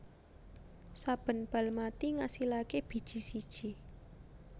Saben bal mati ngasilaké biji siji